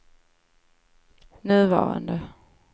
nuvarande